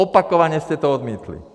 Opakovaně jste to odmítli!